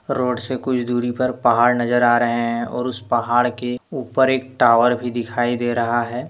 Road से कुछ दूरी पर पहाड़ नजर आ रहे हैं और उसे पहाड़ के ऊपर एक टावर भी दिखाई दे रहा है।